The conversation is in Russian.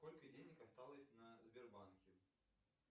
сколько денег осталось на сбербанке